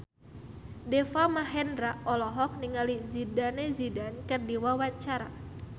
Deva Mahendra olohok ningali Zidane Zidane keur diwawancara